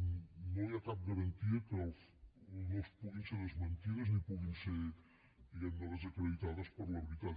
no hi ha cap garantia que no puguin ser desmentides ni puguin ser diguem ne desacreditades per la veritat